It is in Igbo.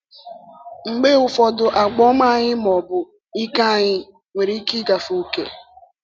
Mgbe ụfọdụ àgwà ọma anyị, ma ọ bụ ike anyị, nwere ike ịgafe ókè.